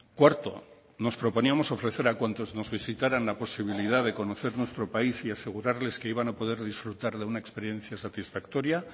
cuarto nos proponíamos ofrecer a cuantos nos visitaran la posibilidad de conocer nuestro país y asegurarles que iban a poder disfrutar de una experiencia satisfactoria